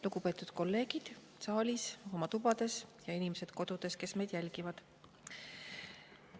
Lugupeetud kolleegid saalis ja oma tubades ning inimesed kodudes, kes meid jälgivad!